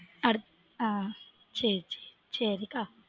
அடுத் ஆஹ் சேரி சேரி சேரி அக்கா